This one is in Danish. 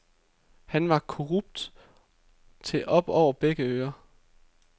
Han var korrupt til op over begge ører.